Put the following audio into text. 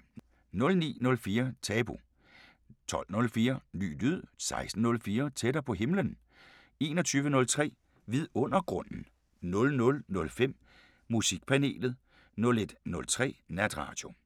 09:04: Tabu 12:04: Ny lyd 16:04: Tættere på himlen 21:03: Vidundergrunden 00:05: Musikpanelet 01:03: Natradio